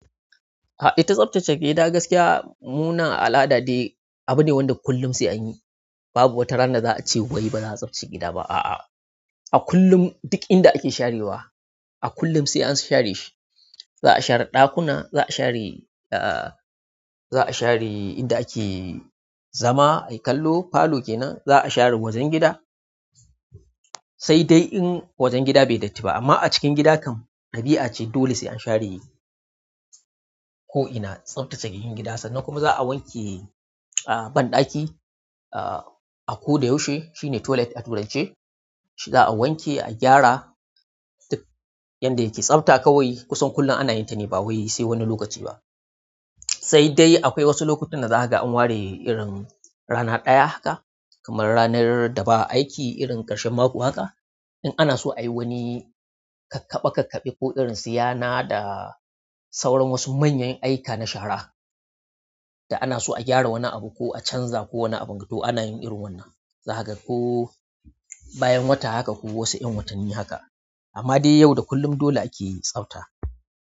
A'a ita tsaftace gida gaskiya mu nan al'ada dai abu ne wanda kullum sai an yi. Babu wata rana da za a ce wai ba za a tsaftace gida ba. A'a, a kullum duk inda ake sharewa, a kullum sai an share shi, za a share ɗakuna, za a share, za a share inda ake zama ayi kallo, falo kenan, za a share wajen gida, sai dai in wajen gida bai yi datti ba amma a cikin gida kam, ɗabi'a ce dole sai an share ko ina, tsaftace cikin gida. Sannan kuma za a wanke banɗaki, ah, a ko da yushi shine toilet a turance. Shi za'a wanke, a gyara duk yanda yake tsafta kawai kusan kullum ana yin ta ne ba wai sai wani lokaci ba. Sai dai akwai wasu lokutan da za ka ga an ware irin rana ɗaya haka kamar ranar da ba aiki irin ƙarshen mako haka. In ana so a yi wani kakkaɓe kakkaɓe ko irin su yana da sauran wasu manyan ayyuka na shara da ana so a gyara wani abu ko a canza ko wani abin ga to ana yin irin wannan. Za ka ga ko bayan wata haka ko wasu 'yan watanni haka. Amma dai yau da kullum dole ake tsafta.